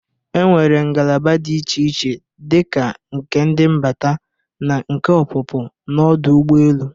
E nwere ngalaba dị iche iche dịka nke ndị mbata na nke ọpụpụ n'ọdụ ụgbọelu.